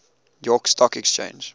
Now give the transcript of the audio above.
york stock exchange